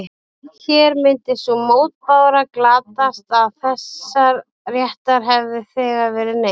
Hér myndi sú mótbára glatast að þessa réttar hefði þegar verið neytt.